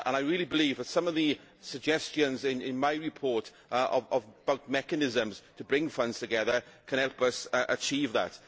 I really believe that some of the suggestions in my report about mechanisms to bring funds together can help us achieve that.